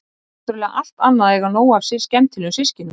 Það er náttúrlega allt annað að eiga nóg af skemmtilegum systkinum.